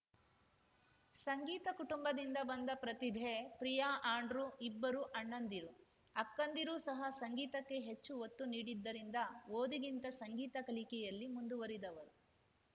ಸಂಗೀತ ಕುಟುಂಬದಿಂದ ಬಂದ ಪ್ರತಿಭೆ ಪ್ರಿಯಾ ಆಂಡ್ರೂ ಇಬ್ಬರು ಅಣ್ಣಂದಿರು ಅಕ್ಕಂದಿರೂ ಸಹ ಸಂಗೀತಕ್ಕೆ ಹೆಚ್ಚು ಒತ್ತುನೀಡಿದ್ದರಿಂದ ಓದಿಗಿಂತ ಸಂಗೀತ ಕಲಿಕೆಯಲ್ಲಿ ಮುಂದುವರಿದವರು